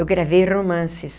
Eu gravei romances.